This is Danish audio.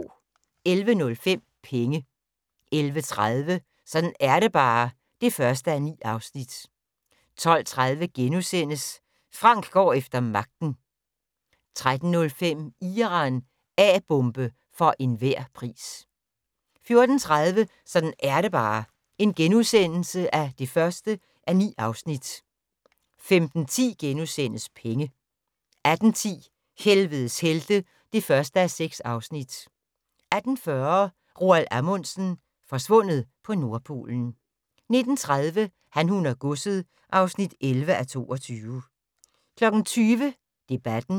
11:05: Penge 11:30: Sådan er det bare (1:9) 12:30: Frank går efter magten (1:5)* 13:05: Iran - A-bombe for enhver pris 14:30: Sådan er det bare (1:9)* 15:10: Penge * 18:10: Helvedes helte (1:6) 18:40: Roald Amundsen - forsvundet på Nordpolen 19:30: Han, hun og godset (11:22) 20:00: Debatten